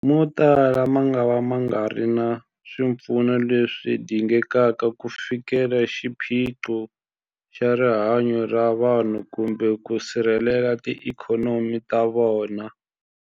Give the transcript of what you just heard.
Motala mangava ma nga ri na swipfuno leswi dingekaka ku fikelela xiphiqo xa rihanyu ra vanhu kumbe ku sirhelela tiikhonomi ta vona.